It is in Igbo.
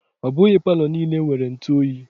Ọ bụghị Palọ niile nwere ntụ oyi.